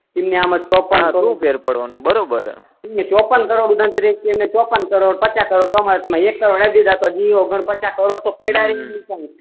તો શુ ફેર પડવાનું બરોબર હે તો પણ તો પણ એક ટીમ ચોપ્પન કરોડ પચાસ કરો કમાય તો એક કરોડ તમે પ્રાઈઝ રાખો તો પચાસ કરોડ તો પડ્યા છે